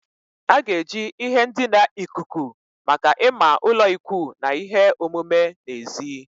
A ga-eji ihe ndina ikuku maka ịma ụlọikwuu na ihe omume n'èzí.